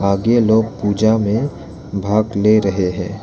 आगे लोग पूजा में भाग ले रहे हैं।